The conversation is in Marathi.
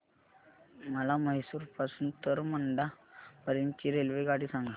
मला म्हैसूर पासून तर मंड्या पर्यंत ची रेल्वेगाडी सांगा